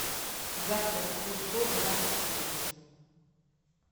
завтраккусто двадцать верст